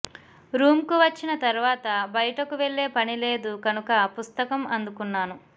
రూమ్కు వచ్చిన తర్వాత బయటకు వెళ్ళే పని లేదు కనుక పుస్తకం అందుకున్నాను